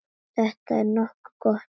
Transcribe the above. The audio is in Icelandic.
Þetta er nokkuð gott.